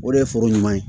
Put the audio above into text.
O de ye foro ɲuman ye